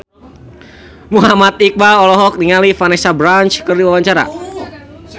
Muhammad Iqbal olohok ningali Vanessa Branch keur diwawancara